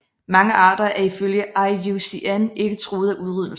Mange arter er ifølge IUCN ikke truet af udryddelse